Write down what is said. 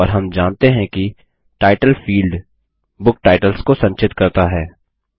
और हम जानते हैं कि टाइटल फील्ड बुक टाइटल्स को संचित करता हैं